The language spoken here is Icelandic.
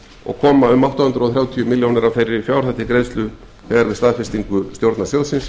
og koma átta hundruð þrjátíu milljónir af þeirri fjárhæð til greiðslu þegar við staðfestingu stjórnar sjóðsins